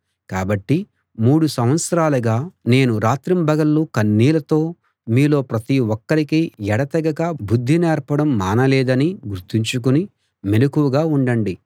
కాబట్టి మూడు సంవత్సరాలుగా నేను రాత్రింబగళ్ళు కన్నీళ్ళతో మీలో ప్రతి ఒక్కరికీ ఎడతెగక బుద్ధి నేర్పడం మానలేదని గుర్తుంచుకుని మెలకువగా ఉండండి